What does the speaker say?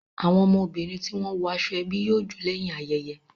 Àwọn ọmọbìnrin ti wọn wo aṣọ ebi yóò jo lẹ́yìn ayẹyẹ